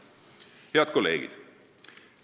Head kolleegid!